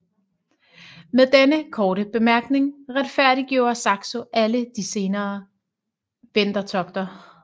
Med denne korte bemærkning retfærdiggjorde Saxo alle de senere vendertogter